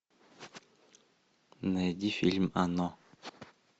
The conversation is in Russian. найди фильм оно